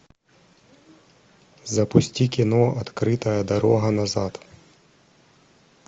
запусти кино открытая дорога назад